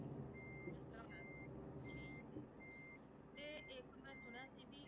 ਤੇ ਇੱਕ ਮੈਂ ਸੁਣਿਆ ਸੀ ਵੀ